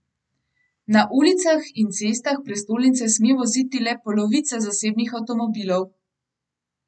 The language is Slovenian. Na ulicah in cestah prestolnice sme voziti le polovica zasebnih avtomobilov.